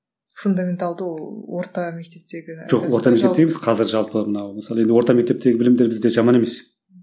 фундаменталды ол орта мектептегі жоқ орта мектептегі емес қазір жалпы мынау мысалы енді орта мектептегі білімдер бізде жаман емес